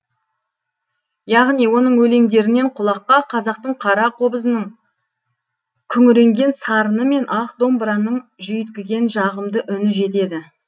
яғни оның өлеңдерінен құлаққа қазақтың қара қобызының күңіренген сарыны мен ақ домбыраның жүйткіген жағымды үні жетеді